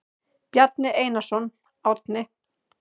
Bjarni Einarsson, Árni.